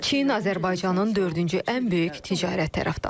Çin Azərbaycanın dördüncü ən böyük ticarət tərəfdaşıdır.